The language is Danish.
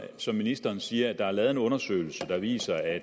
som ministeren siger at der er lavet en undersøgelse der viser at